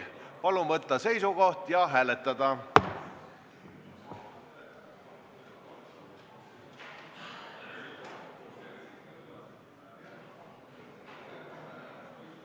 Palun võtta seisukoht ja hääletada!